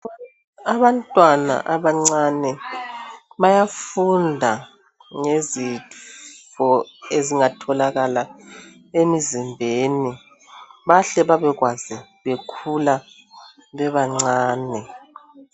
Abantwana abancane bayafunda ngezifo ezingatholakala emzimbeni bahle babekwazi bekhula bebancane.